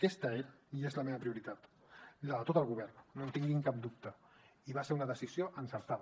aquesta era i és la meva prioritat la de tot el govern no en tinguin cap dubte i va ser una decisió encertada